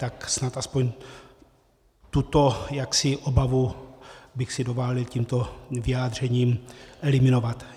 Tak snad aspoň tuto obavu bych si dovolil tímto vyjádřením eliminovat.